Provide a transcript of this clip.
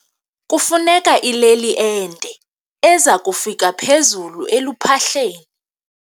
Kufuneka ileli ende eza kufika phezulu eluphahleni.